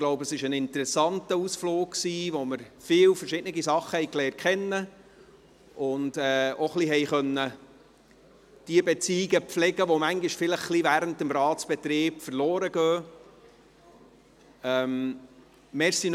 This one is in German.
Ich glaube, es war ein interessanter Ausflug, bei dem wir viele verschiedene Sachen kennengelernt haben und auch jene Beziehungen pflegen konnten, die während des Ratsbetriebs manchmal etwas verloren gehen.